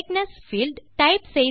correctness field